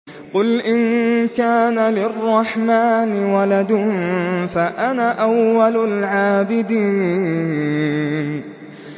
قُلْ إِن كَانَ لِلرَّحْمَٰنِ وَلَدٌ فَأَنَا أَوَّلُ الْعَابِدِينَ